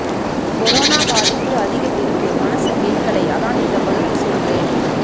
corona பாதிப்பு அதிகம் இருக்கு மனசு கேட்கலை அதான் இந்த மருந்து சொல்றேன்